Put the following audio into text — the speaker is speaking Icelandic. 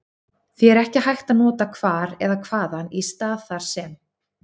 Því er ekki hægt að nota hvar eða hvaðan í stað þar sem.